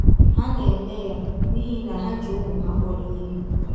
Ha na - eme ya n’ihi na ha ji ụmụ ha kpọrọ ihe.